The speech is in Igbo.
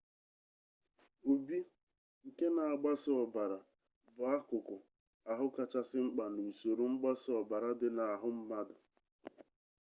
obi nke na-agbasa ọbara bụ akụkụ ahụ kachasị mkpa n'usoro mgbasa ọbara dị n'ahụ mmadụ